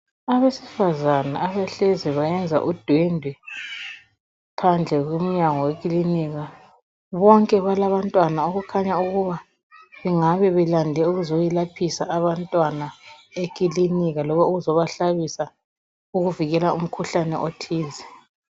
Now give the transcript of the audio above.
Abesifazana abahlezi bayenza udwendwe phandle komnyago wekilinika bonke balabantwana okukhanya ukuba bengabe belande ukuzoyelaphisa abantwana ekilinika loba ukuzobahlabisa ukuvikela umkhuhlane othize.